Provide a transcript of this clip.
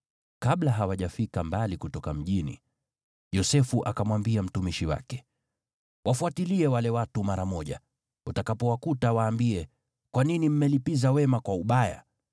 Kabla hawajafika mbali kutoka mjini, Yosefu akamwambia mtumishi wake, “Wafuatilie wale watu mara moja, utakapowakuta, waambie, ‘Kwa nini mmelipiza wema kwa ubaya?